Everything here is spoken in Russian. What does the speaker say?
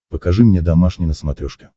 покажи мне домашний на смотрешке